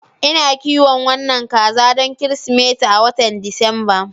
Ina kiwon wannan kaza don Kirsimeti a watan Disamba.